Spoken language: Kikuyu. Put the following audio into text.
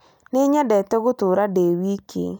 Nĩ nyendete gũtũũra ndĩ wiki